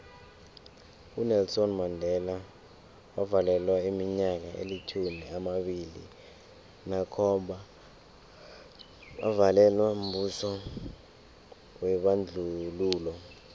unelson mandela wavalelwa iminyaka elitjhumi amabili nakhomba avalelwa mbuso webandlululo